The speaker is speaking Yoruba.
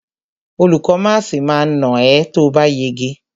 Olùkó máàsì ma nà ẹ́ tóòbá yege.